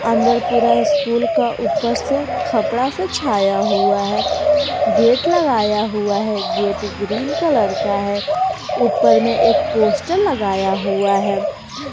अंदर पूरा स्कूल का ऊपर से कपड़ा से छाया हुआ है गेट लगाया हुआ है गेट ग्रीन कलर का है ऊपर में एक पोस्टर लगाया हुआ है।